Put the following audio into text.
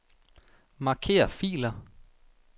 Marker filer.